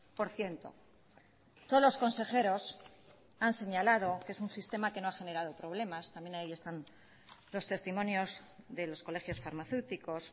por ciento todos los consejeros han señalado que es un sistema que no ha generado problemas también ahí están los testimonios de los colegios farmacéuticos